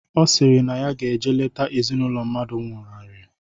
Ọ sịrị na ya ga-eje lete ezinaụlọ mmadụ nwụnarị